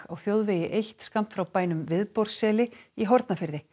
á þjóðvegi eitt skammt frá bænum Viðborðsseli í Hornafirði